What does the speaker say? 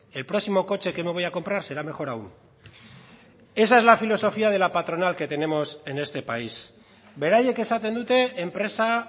el próximo coche que me voy a comprar será mejor aún esa es la filosofía de la patronal que tenemos en este país beraiek esaten dute enpresa